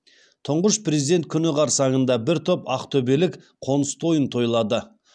тұңғыш президент күні қарсаңында бір топ ақтөбелік қоныс тойын тойлады